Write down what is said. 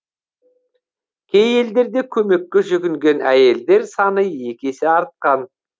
кей елдерде көмекке жүгінген әйелдер саны екі есе артқан